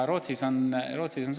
Rootsis see nii on.